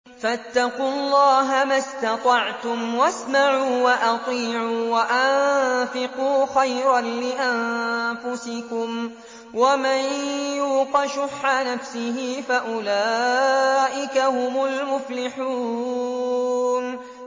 فَاتَّقُوا اللَّهَ مَا اسْتَطَعْتُمْ وَاسْمَعُوا وَأَطِيعُوا وَأَنفِقُوا خَيْرًا لِّأَنفُسِكُمْ ۗ وَمَن يُوقَ شُحَّ نَفْسِهِ فَأُولَٰئِكَ هُمُ الْمُفْلِحُونَ